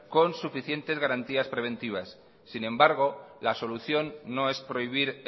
con suficiente garantías preventivas sin embargo la solución no es prohibir